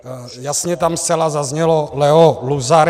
Jasně tam zcela zaznělo Leo Luzar.